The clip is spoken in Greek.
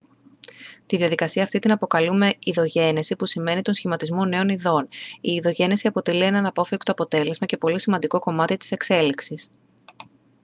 τη διαδικασία αυτή την αποκαλούμε ειδογένεση που σημαίνει τον σχηματισμό νέων ειδών η ειδογένεση αποτελεί ένα αναπόφευκτο αποτέλεσμα και πολύ σημαντικό κομμάτι της εξέλιξης